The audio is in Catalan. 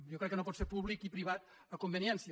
jo crec que no pot ser públic i privat a conveniència